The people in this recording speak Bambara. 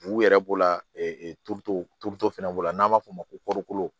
U yɛrɛ b'o la turuto fana b'o la n'an b'a fɔ o ma ko